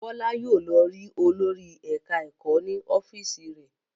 Bọ́lá yóò lọ rí olórí ẹ̀ka-ẹ̀kọ́ ní ọ́fíísì rẹ̀.